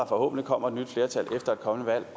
forhåbentlig kommer et nyt flertal efter et kommende